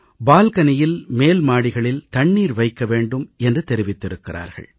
பால்கனியில் மேல்மாடிகளில் தண்ணீர் வைக்க வேண்டும் என்று தெரிவித்திருக்கிறார்கள்